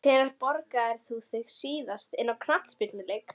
Sökum lágs lofthita er efnaveðrun mjög hæg hér á landi.